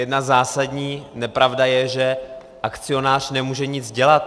Jedna zásadní nepravda je, že akcionář nemůže nic dělat.